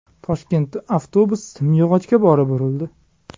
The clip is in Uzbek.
Toshkentda avtobus simyog‘ochga borib urildi.